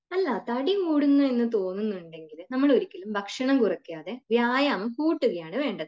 അല്ല തടി കൂടുന്നു എന്ന് തോന്നുന്നുണ്ടെങ്കിൽ നമ്മൾ ഒരിക്കലും ഭക്ഷണം കുറയ്ക്കാതെ വ്യായാമം കൂട്ടുകയാണ് വേണ്ടത്